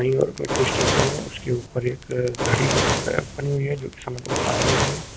Station है उसके ऊपर एक घड़ी बनी हुई है जो कि समय को बता रही है।